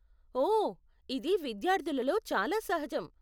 ఓ, ఇది విద్యార్ధులలో చాలా సహజం.